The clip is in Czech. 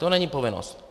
To není povinnost.